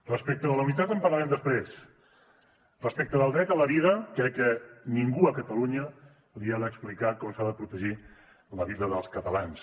respecte de la unitat en parlarem després respecte del dret a la vida crec que ningú a catalunya li ha d’explicar com s’ha de protegir la vida dels catalans